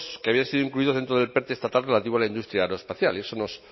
que habían sido incluidos dentro del estatal relativo a la industria aeroespacial y eso nos